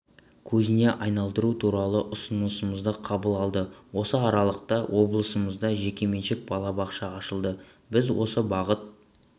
көзіне айналдыру туралы ұсынысымызды қабыл алды осы аралықта облысымызда жекеменшік балабақша ашылды біз осы бағыт